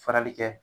Farali kɛ